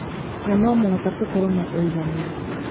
Na no mũhaka tũkorũo na ũigananĩru.